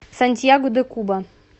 сантьяго де куба